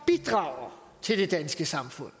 bidrager til det danske samfund